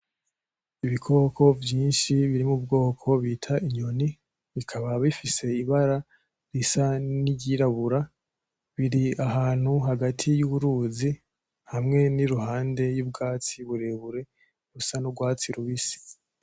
Ibikoko vyinshi biri mu bwoko bita inyoni, bikaba bifise ibara risa niry'irabura, biri ahantu hagati y'uruzi hamwe n'iruhande y'ubwatsi burebure bisa n'urwatsi rubisi.